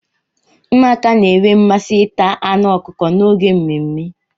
Ụmụaka na-enwe mmasị ita anụ ọkụkọ n'oge mmemme.